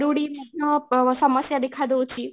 ରୁଡ଼ି ଅ ସମସ୍ୟା ଦେଖା ଦେଉଛି